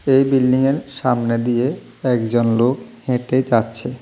এই বিল্ডিংয়ের সামনে দিয়ে একজন লোক হেঁটে যাচ্ছে।